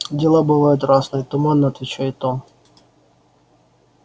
дела бывают разные туманно отвечает он